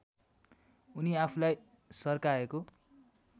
उनी आफूलाई सर्काएको